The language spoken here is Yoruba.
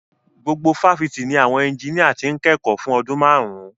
Gbogbo fáfitì ni àwọn ẹnjiníà ti ń kẹ́kọ̀ọ́ fún ọdún márùn-ún.